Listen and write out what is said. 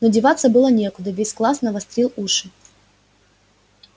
но деваться было некуда весь класс навострил уши